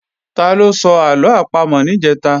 Taló sọ àlọ àpamọ̀ níjẹ̀ta?